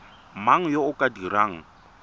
mang yo o ka dirang